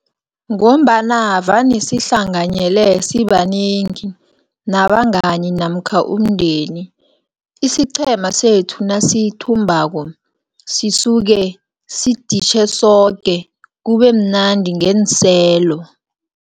Ngombana vane sihlanganyele sibanengi, nabangani, namkha umndeni. Isiqhema sethu nasithumbako, sisuke siditjhe soke, kubemnandi ngeenselo.